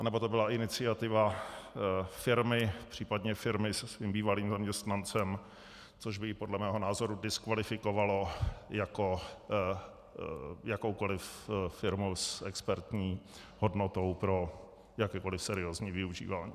Nebo to byla iniciativa firmy, případně firmy se svým bývalým zaměstnancem, což by ji podle mého názoru diskvalifikovalo jako jakoukoliv firmu s expertní hodnotou pro jakékoliv seriózní využívání.